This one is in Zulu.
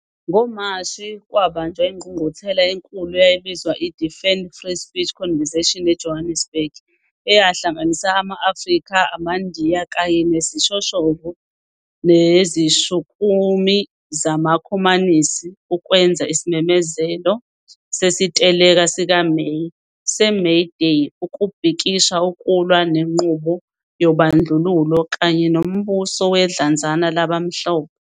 NgoMashi, kwabanjwa ingqungquthela enkulu eyayibizwa iDefend Free Speech Convention eJohannesburg, eyahlanganisa ama-Afrika, AmaNdiya, kanye nezishoshovu nezishukumi zamakhomanisi ukwenza isimemezelo sesiteleka sikaMeyi se-May Day ukubhikisha ukulwa nenqubo yobandlululo kanye nombuso wedlanzana labamhlophe.